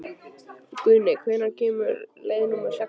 Guðni, hvenær kemur leið númer sextán?